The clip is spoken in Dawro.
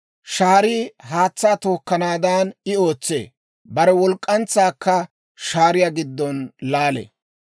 Shaarii haatsaa tookkanaadan I ootsee; bare walk'k'antsaakka shaariyaa giddon laalee.